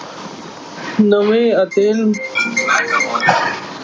ਨਵੇਂ ਅਤੇ